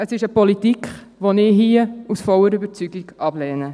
Es ist eine Politik, die ich hier aus voller Überzeugung ablehne.